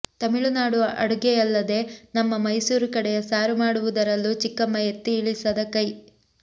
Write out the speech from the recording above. ತಮಿಳುನಾಡು ಅಡುಗೆಯಲ್ಲದೆ ನಮ್ಮ ಮೈಸೂರು ಕಡೆಯ ಸಾರು ಮಾಡುವುದರಲ್ಲೂ ಚಿಕ್ಕಮ್ಮ ಎತ್ತಿ ಇಳಿಸದ ಕೈ